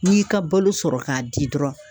N'i y'i ka balo sɔrɔ k'a di dɔrɔn